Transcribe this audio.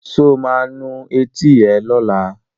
Sọ ma nu etí ẹ lọ́la?